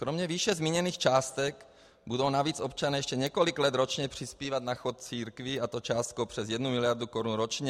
Kromě výše zmíněných částek budou navíc občané ještě několik let ročně přispívat na chod církví, a to částkou přes 1 miliardu korun ročně.